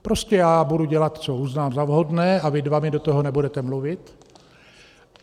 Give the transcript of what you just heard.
Prostě já budu dělat, co uznám za vhodné, a vy dva mi do toho nebudete mluvit.